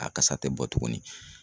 A kasa tɛ bɔ tuguni.